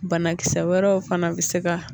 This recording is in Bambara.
Banakisɛ wɛrɛw fana bɛ se ka